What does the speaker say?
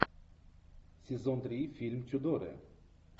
сезон три фильм тюдоры